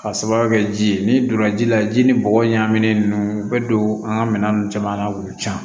K'a sababuya kɛ ji ye n'i donna ji la ji ni bɔgɔ ɲagaminen ninnu u bɛ don an ka minɛn ninnu caman na k'u can